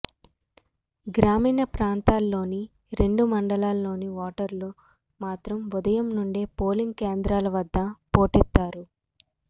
గ్రామీణ ప్రాంతాల్లోని రెండు మండలాల్లోని ఓటర్లు మాత్రం ఉదయం నుండే పోలింగ్ కేంద్రాల వద్ద పోటెత్తారు